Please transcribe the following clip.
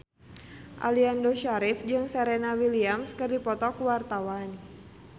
Aliando Syarif jeung Serena Williams keur dipoto ku wartawan